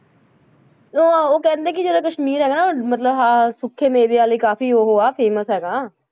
ਉਹ ਉਹ ਕਹਿੰਦੇ ਕਿ ਜਿਹੜਾ ਕਸ਼ਮੀਰ ਹੈ ਨਾ, ਮਤਲਬ ਆਹ ਸੁੱਕੇ ਮੇਵਿਆਂ ਲਈ ਕਾਫ਼ੀ ਉਹ ਹੈ famous ਹੈਗਾ,